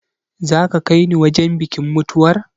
Za ka kai ni wajen bikin mutuwar?